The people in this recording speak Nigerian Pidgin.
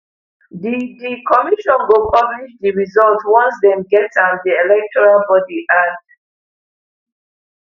di di commission go publish di result once dem get am di electoral body add